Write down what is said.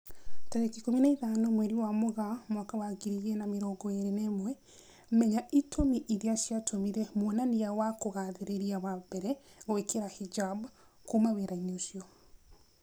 Tarĩki ikũmi na ithano mweri wa Mũgaa mwaka wa ngiri igĩri na mĩrongo ĩri na ĩmwe, Menya itũmi irĩa ciatũmire mwonania wa kugathĩrĩria wa mbere gwĩkira hijab "kuma wĩra-inĩ ucio"